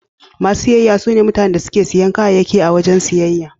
Masu siyayya sune mutanen da suke siyan kayayyaki a wajen siyayya.